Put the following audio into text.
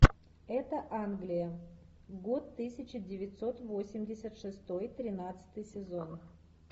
это англия год тысяча девятьсот восемьдесят шестой тринадцатый сезон